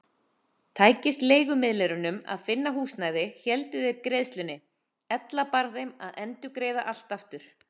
Tækist leigumiðlurunum að finna húsnæði héldu þeir greiðslunni, ella bar þeim að endurgreiða allt aftur.